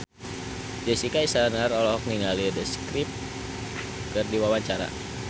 Jessica Iskandar olohok ningali The Script keur diwawancara